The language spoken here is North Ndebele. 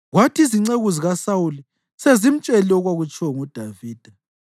Kwathi izinceku zikaSawuli sezimtshelile okwakutshiwo nguDavida,